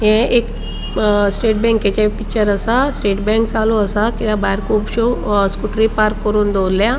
ये एक स्टेट बँकचे पिक्चर आसा स्टेट बँक चालू असा भायर खुबश्यो स्कुटरी पार्क करून दवरल्या.